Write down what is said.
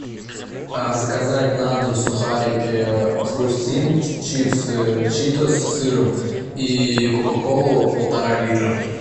заказать на дом сухарики хрустим чипсы читос с сыром и кока колу полтора литра